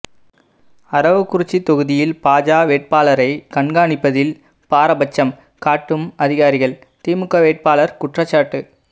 அரவக்குறிச்சி தொகுதியில் பாஜ வேட்பாளரை கண்காணிப்பதில் பாரபட்சம் காட்டும் அதிகாரிகள் திமுக வேட்பாளர் குற்றச்சாட்டு